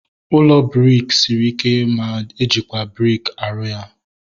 Ụlọ briki sịrị ike ma ejikwa briki aru ya